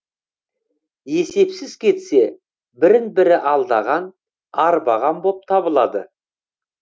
есепсіз кетсе бірін бірі алдаған арбаған боп табылады